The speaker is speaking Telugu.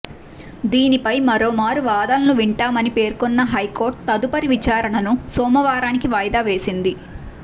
దీనిపై మరో మారు వాదనలు వింటామని పేర్కొన్న హైకోర్టు తదుపరి విచారణను సోమవారానికి వాయిదా వేసింది